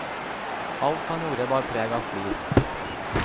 Alt han gjorde bar preg av flid.